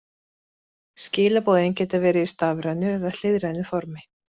Skilaboðin geta verið í stafrænu eða hliðrænu formi.